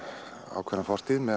ákveðna fortíð með